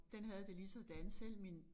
Den havde det ligesådan selv min